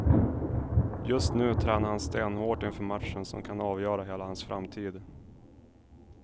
Just nu tränar han stenhårt inför matchen som kan avgöra hela hans framtid.